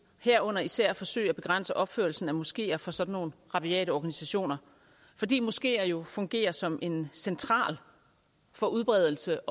herunder især forsøge at begrænse opførelsen af moskeer for sådan nogle rabiate organisationer fordi moskeer jo fungerer som en central for udbredelse